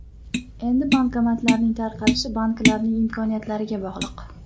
Endi bankomatlarning tarqalishi banklarning imkoniyatlariga bog‘liq.